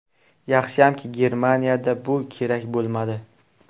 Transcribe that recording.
Yaxshiyamki, Germaniyada bu kerak bo‘lmadi.